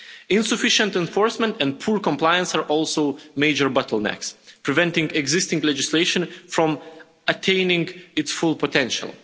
Insufficient enforcement and poor compliance are also major bottlenecks, preventing existing legislation from attaining its full potential.